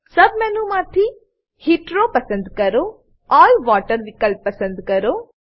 સબ મેનુમાંથી hetero hetero પસંદ કરો અલ્લ વોટર વિકલ્પ પસંદ કરો